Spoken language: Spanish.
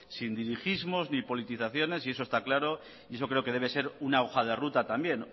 sin dirigismos ni politizaciones eso está claro y eso creo que debe de ser una hoja de ruta también